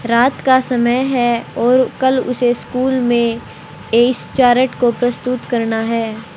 रात का समय है और कल उसे स्कूल में इस चार्ट को प्रस्तुत करना है।